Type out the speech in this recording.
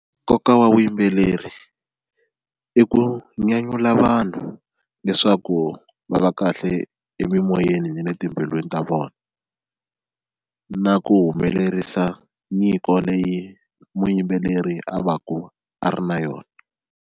Nkoka wa vuyimbeleri i ku nyanyula vanhu leswaku va va kahle emimoyeni na le timbilwini ta vona na ku humelerisa nyiko leyi muyimbeleri a va ku a ri na yona.